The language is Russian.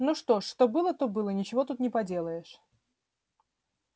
ну что ж что было то было ничего тут не поделаешь